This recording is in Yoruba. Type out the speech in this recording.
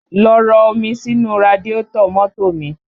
Lọ rọ omi sínú radiátọ̀ mọ́tò mi!